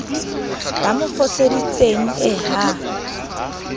ba mo foseditsenge ie ha